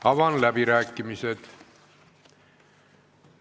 Avan läbirääkimised.